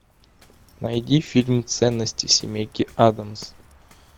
найди фильм ценности семейки аддамс